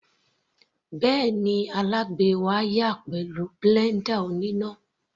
Bẹ́ẹ̀ni, alábàgbé wá yá a pẹ̀lú blender oníná.